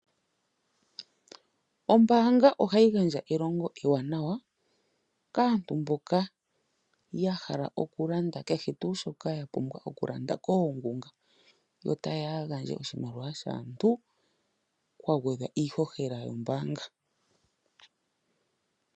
Ombanga ohayi gandja elongo ewanawa kaantu mboka ya hala oku landa kehe tu shoka ya pumbwa oku landa koongunga yo ta yeya ya gandje oshimaliwa shaantu kwa gwedhwa iihohela yombanga.